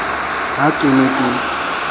ka ha ke ne ke